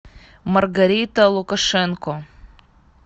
маргарита лукашенко